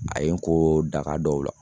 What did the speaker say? A ye n ko daga dɔw la